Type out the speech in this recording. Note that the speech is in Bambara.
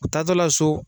U taatɔ la so